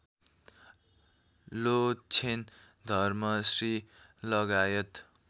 लोछेन धर्मश्री लगायत